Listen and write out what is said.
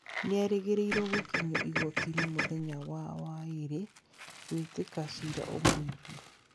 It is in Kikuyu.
Nĩerĩgĩrĩirwo gũkinyio igooti-inĩ mũthenya wa waĩrĩ gwĩtĩka cira ũmwĩigie